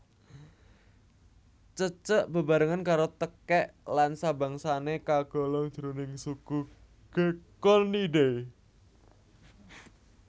Cecek bebarengan karo tekèk lan sabangsané kagolong jroning suku Gekkonidae